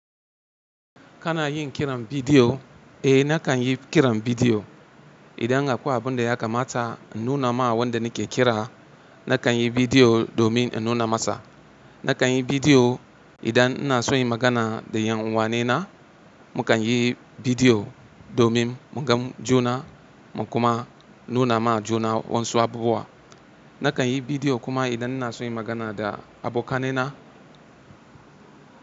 Kana yin kiran bidiyo? Eh nakan yi kiran bidiyo. Idan akwai abin da ya kamata in nuna ma wanda nake kira, nakan yi bidiyo domin in nuna masa. Nakan yi bidiyo idan ina so yi magana da yan uwanena, mu kan yi bidiyo domin mu gan juna mu kuma nuna ma juna wasu abubuwa. Nakan yi bidiyo kuma idan ina so yi magana da abokan nai na.